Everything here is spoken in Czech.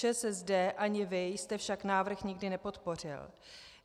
ČSSD ani vy jste však návrh nikdy nepodpořil.